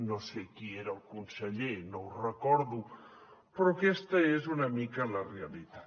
no sé qui era el conseller no ho recordo però aquesta és una mica la realitat